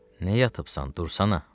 Nə yatıbsan, dursana.